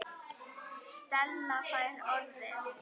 Stella fær orðið.